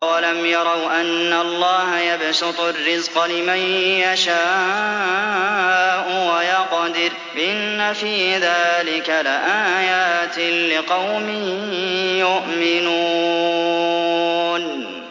أَوَلَمْ يَرَوْا أَنَّ اللَّهَ يَبْسُطُ الرِّزْقَ لِمَن يَشَاءُ وَيَقْدِرُ ۚ إِنَّ فِي ذَٰلِكَ لَآيَاتٍ لِّقَوْمٍ يُؤْمِنُونَ